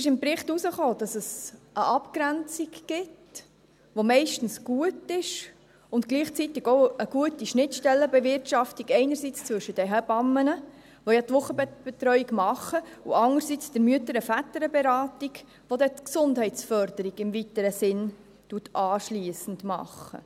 Im Bericht kam heraus, dass es eine Abgrenzung gibt, die meistens gut ist, und gleichzeitig auch eine gute Schnittstellenbewirtschaftung, einerseits zwischen den Hebammen, die ja die Wochenbettbetreuung machen, und andererseits der MVB, welche anschliessend die Gesundheitsförderung im weiteren Sinn macht.